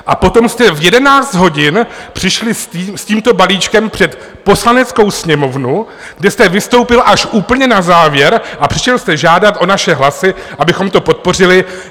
A potom jste v 11 hodin přišli s tímto balíčkem před Poslaneckou sněmovnu, kde jste vystoupil až úplně na závěr a přišel jste žádat o naše hlasy, abychom to podpořili.